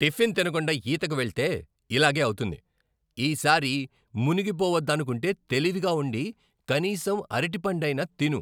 Tiffin తినకుండా ఈతకు వెళ్తే ఇలాగే అవుతుంది. ఈసారి మునిగిపోవద్దనుకుంటే తెలివిగా ఉండి, కనీసం అరటిపండైనా తిను.